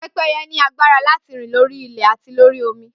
Pẹ́pẹ́yẹ ní agbára láti rìn lórí ilẹ̀ àti lórí omi